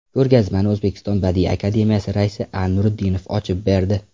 Ko‘rgazmani O‘zbekiston Badiiy akademiyasi raisi A. Nuriddinov ochib berdi.